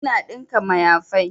Ina ɗinka mayafai